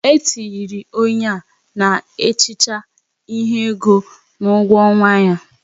E tinyere onye na ehicha ihe ego n'ugwo ọnwa ya